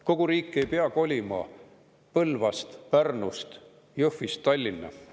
Kogu riik ei pea kolima Põlvast, Pärnust, Jõhvist Tallinna.